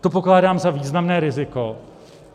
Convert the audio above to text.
To pokládám za významné riziko.